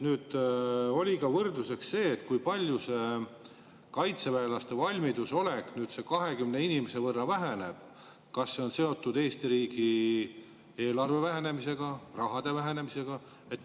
Oli ka võrdluseks see, et kui nüüd see kaitseväelaste valmiduses olek ligi 20 inimese võrra väheneb, siis kas see on seotud Eesti riigi eelarve vähenemisega, rahade vähenemisega?